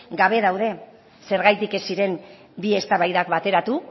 gabe daude zergatik ez ziren bi eztabaidak bateratu